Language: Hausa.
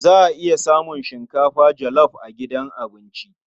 Za a iya samun shinkafa jolof a gidan abincin.